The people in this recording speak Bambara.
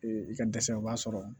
Ee i ka dɛsɛ u b'a sɔrɔ